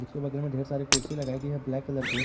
के बगल में ढेर सारी कुर्सी लगाई गई हैं ब्लैक कलर के।